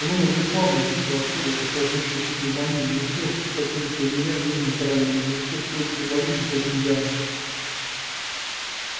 он умер бесславно и быстро от кори осложнившейся пневмонией не успев покинуть лагеря в южной каролине не успев встретиться в бою ни с одним янки